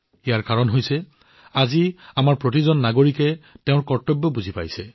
ইয়াৰ কাৰণ হৈছে আজি আমাৰ প্ৰতিজন নাগৰিকে নিজৰ কৰ্তব্য উপলব্ধি কৰিছে